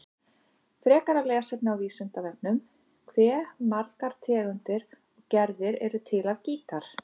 Frekara lesefni á Vísindavefnum: Hve margar tegundir og gerðir eru til af gítar?